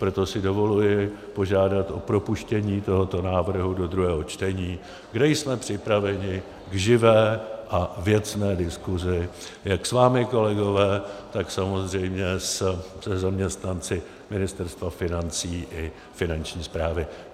Proto si dovoluji požádat o propuštění tohoto návrhu do druhého čtení, kde jsme připraveni k živé a věcné diskusi, jak s vámi, kolegové, tak samozřejmě se zaměstnanci Ministerstva financí i Finanční správy.